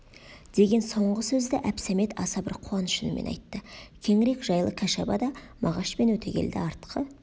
деген соңғы сөзді әбсәмет аса бір қуаныш үнімен айтты кеңірек жайлы кәшабада мағаш пен өтегелді артқы